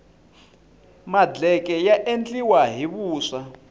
madleke ya endliwa hi vuswa